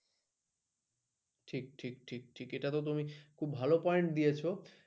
ঠিকঠিক ঠিক এটাতো তুমি খুব ভালো point দিয়েছো।